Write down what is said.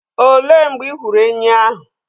Òlé mgbe ị hụrụ ènyị́ ahụ?